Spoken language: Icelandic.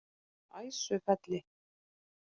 Æsufelli